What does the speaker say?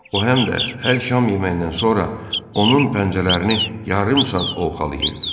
O, həm də hər şam yeməyindən sonra onun pəncələrini yarım saat ovxalayırdı.